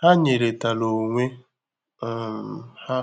Ha nyèrè tara onwe um ha